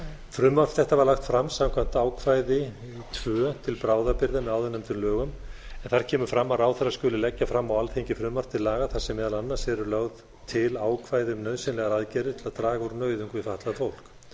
frumvarp þetta var lagt fram samkvæmt ákvæði tvö til bráðabirgða með áðurnefndum lögum en þar kemur fram að ráðherra skuli leggja fram á alþingi frumvarp til laga þar sem meðal annars eru lögð til ákvæði um nauðsynlegar aðgerðir til að draga úr nauðung fyrir fatlað fólk